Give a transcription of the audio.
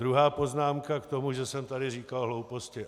Druhá poznámka k tomu, že jsem tady říkal hlouposti.